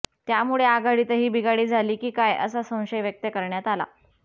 यामुळे आघाडीतही बिघाडी झाली की काय असा संशय व्यक्त करण्यात आला